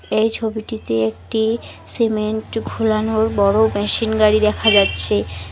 এই ছবিটিতে একটি সিমেন্ট ঘোলানোর বড়ো মেশিন গাড়ি দেখা যাচ্ছে।